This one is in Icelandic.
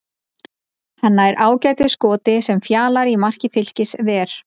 Hann nær ágætu skoti sem Fjalar í marki Fylkis ver.